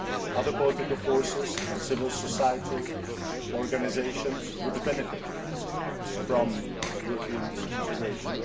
Other political forces and civil society organisations would benefit from European integration.